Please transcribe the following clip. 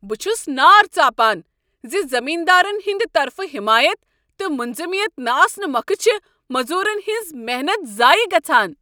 بہٕ چھُس نار ژاپان ز زٔمیندارن ہنٛد طرفہٕ حٮ۪مایت تہٕ منظمیت نہٕ آسنہٕ موكھہٕ چھےٚ موٚزوٗرن ہٕنٛز ہنٛز محنت ضایع گژھان۔